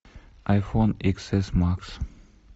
айфон икс эс макс